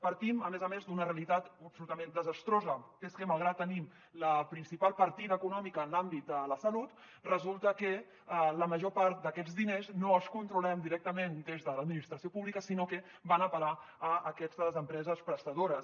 partim a més a més d’una realitat absolutament desastrosa i és que malgrat tenim la principal partida econòmica en l’àmbit de la salut resulta que la major part d’aquests diners no els controlem directament des de l’administració pública sinó que van a parar a aquestes empreses prestadores